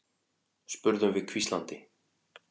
spurðum við hvíslandi.